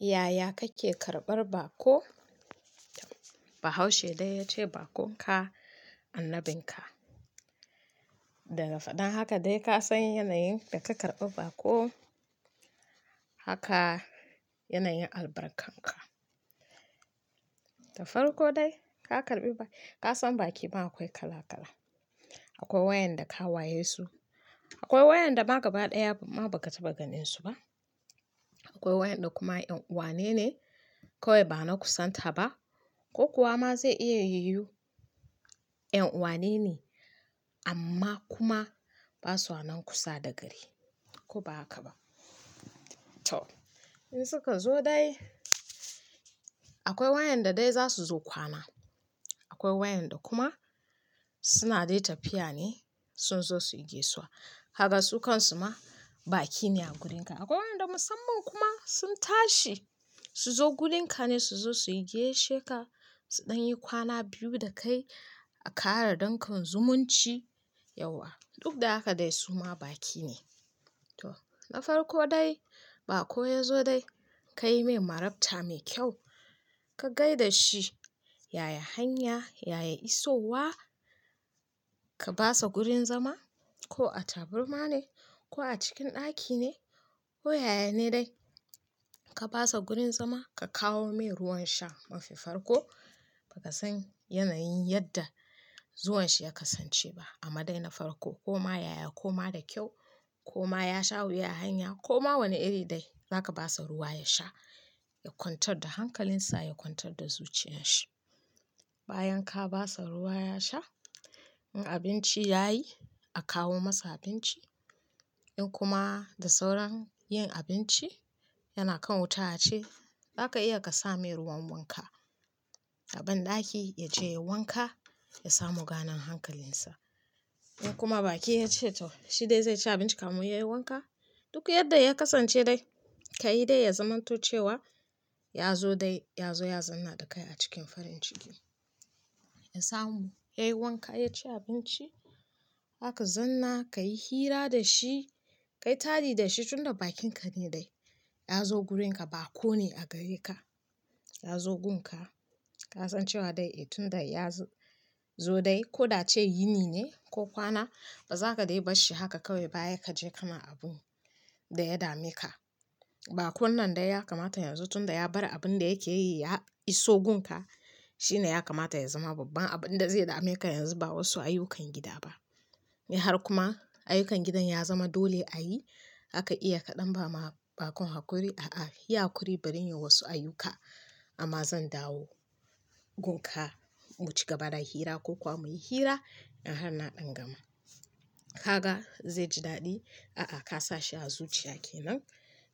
Yaya kake karɓar baƙo? Bahaushe ya ce bakon ka anabin ka Daga faɗin haka dai ka san yanayin da ka karɓi baƙo, haka yanayin albarkanka. Na farko dai, ka karɓi baƙi, ka san baki ma akwai kala-kala. Akwai wayanda ka waye su, akwai wayanda ma gaba ɗaya ma ba ka taɓa ganin su ba. Akwai wayanda kuma 'yan uwa ne kawai ba na kusantar ba ko kuwa ma zai iya yiwu 'yan uwa ne amma kuma ba su nan kusa da gari ko ba haka ba. To, in suka zo dai, akwai wayanda dai za su zo kwana, akwai wayanda kuma suna dai tafiya ne sun zo su yi gaisuwa. Haka su kan su ma baki ne a gurin ka. Akwai wayanda musamman kuma sun tashi su zo gurin ka ne su zo su yi gaishe ka, su ɗan yi kwana biyu da kai a ƙara dankon zumunci yauwa. Duk da haka dai su ma baki ne. To, na farko dai, baƙo ya zo dai ka yi mai marabta mai kyau, ka gai da shi, yaya hanya, yaya isowa, ka ba sa wurin zama ko a taburma ne ko a cikin ɗaki ne ko yaya ne dai. Ka ba sa wurin zama, ka kawo mai ruwan sha. Mafi farko ba ka san yanayin yadda zuwan shi ya kasance ba amma dai na farko ko ma yaya ko ma da kyau ko ma ya sha wuya a hanya ko ma wane iri dai, za ka ba sa ruwa ya sha, ya kwantar da hankalinsa, ya kwantar da zuciyarsa. Bayan ka ba sa ruwa ya sha, in abinci ya yi, a kawo masa abinci. In kuma da sauran yin abinci yana kan wuta ce, za ka iya ka sa mai ruwan wanka a banɗaki ya je ya wanka, ya samu ganin hankalinsa. In kuma baki ya ce to shi dai zai ci abinci kafin yayi wanka, duk yadda ya kasance dai ka yi dai ya zamanto cewa ya zo dai ya zo ya zauna da kai a cikin farin ciki. Ya samu, ya yi wanka, ya ci abinci, aka zauna, ka yi hira da shi, ka yi tadi da shi tunda bakon ka ne dai. Ya zo gurin ka, baƙo ne a gare ka. Ya zo gun ka, ka san cewa dai eh tunda ya zo dai ko da ce ini ne ko kwana, ba za ka dai bar shi haka kawai baya ka je kana abunda ya dame ka. Bakon nan dai ya kamata yanzu tunda ya bar abin da yake yi ya iso gun ka, shi ne ya kamata ya zama babban abin da zai dame ka yanzu ba wasu ayyukan gida ba. In har kuma ayyukan gidan ya zama dole a yi, haka iya ka ɗan ba ma bakon hakuri, "A'a, yi hakuri bari in yi wasu ayyukanka amma zan dawo gun ka mu cigaba da hira ko kuwa muyi hira in har na ɗingama." Haka zai ji daɗi. A a toh ka dan sa shi a zuciya kenan